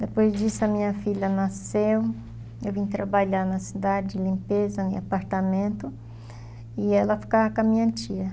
Depois disso a minha filha nasceu, eu vim trabalhar na cidade, limpeza, em apartamento, e ela ficava com a minha tia.